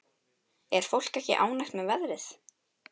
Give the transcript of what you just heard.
Er fólk ekki ánægt með veðrið?